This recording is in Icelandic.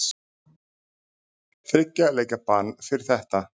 Þriggja leikja bann fyrir þetta?